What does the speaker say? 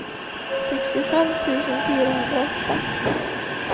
sextiofem tusen fyrahundraåtta